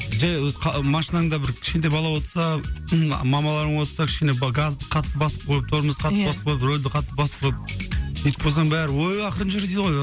жай машинаңда бір кішкентай бала отырса мамаларың отырса кішкене газ қатты басып қойып тормоз қатты иә басып қойып рөлді қатты басып қойып сөйтіп қойсаң ой ақырын жүр дейді ғой